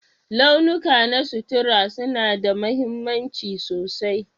Launuka na sutura suna da mahimmanci sosai